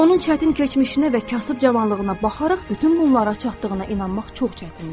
Onun çətin keçmişinə və kasıb cavanlığına baxaraq bütün bunlara çatdığına inanmaq çox çətindir.